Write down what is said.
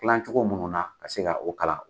Filan cogo munnu na ka se ka o kalan.